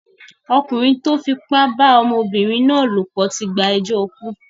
Ọkùnrin tó fipá bá ọmọbìnrin náà lòpọ̀ tí gbẹjọ́ ikú.